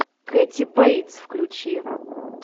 кэти бэйтс включи